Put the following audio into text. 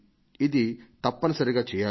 ఇది తప్పనిసరిగా చేయాలి